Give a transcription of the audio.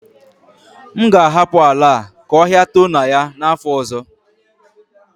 M ga-ahapụ ala a ka ọhia too na ya n'afọ ọzọ